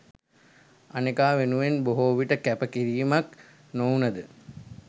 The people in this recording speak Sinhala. අනෙකා වෙනුවෙන් බොහෝවිට කැප කිරීමක් නොවුනද